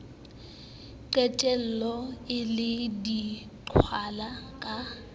qetella e le diqhwala ka